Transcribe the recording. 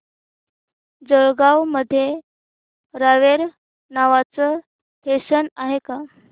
जळगाव मध्ये रावेर नावाचं स्टेशन आहे का